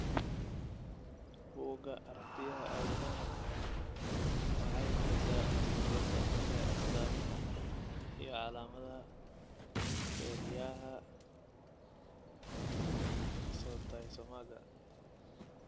Bugga Aaragtiyaha Aadanaha waxay bixisaa liiska soo socda ee astamaha iyo calaamadaha kelyaha oncocytomaga.